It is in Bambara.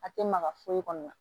A tɛ maga foyi kɔnɔ